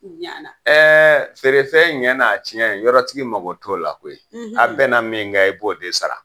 Ɛɛ feere fɛn ɲɛ n'a tiɲɛ yɔrɔtigi mako t'a la koyi . A bɛn na min kan i b'o de sara.